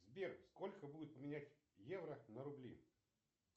сбер сколько будет поменять евро на рубли